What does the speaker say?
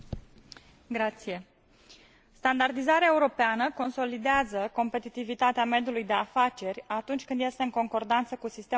Standardizarea europeană consolidează competitivitatea mediului de afaceri atunci când este în concordanță cu sistemul internațional de standardizare.